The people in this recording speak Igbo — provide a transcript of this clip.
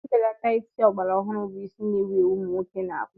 Mbelata isi ala ogbara ọhụrụ bụ isi na-ewu ewu ụmụ nwoke na-akpụ.